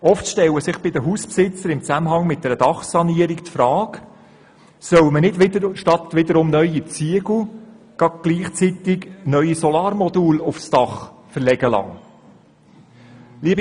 Oft stellt sich bei den Hausbesitzern im Zusammenhang mit einer Dachsanierung die Frage, ob man nicht gleich Solarmodule aufs Dach verlegen lassen soll.